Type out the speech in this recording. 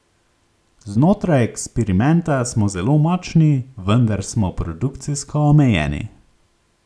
Znotraj eksperimenta smo zelo močni, vendar smo produkcijsko omejeni.